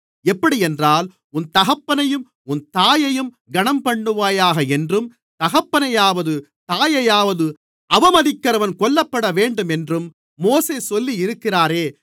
எப்படியென்றால் உன் தகப்பனையும் உன் தாயையும் கனம்பண்ணுவாயாக என்றும் தகப்பனையாவது தாயையாவது அவமதிக்கிறவன் கொல்லப்படவேண்டும் என்றும் மோசே சொல்லியிருக்கிறாரே